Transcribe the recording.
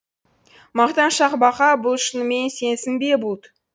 мақтаншақ бақа бұл шынымен сенсің бе бұлт